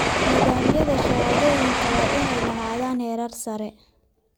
Nidaamyada shahaadooyinka waa inay lahaadaan heerar sare.